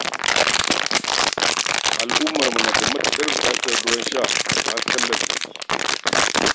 Al'ummarmu na da matuƙar buƙatar ruwan sha da hasken lantarki